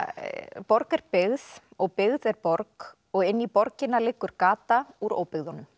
borg er byggð og byggð er borg og inn í borgina liggur gata úr óbyggðunum